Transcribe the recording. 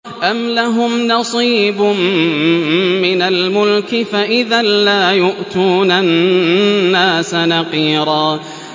أَمْ لَهُمْ نَصِيبٌ مِّنَ الْمُلْكِ فَإِذًا لَّا يُؤْتُونَ النَّاسَ نَقِيرًا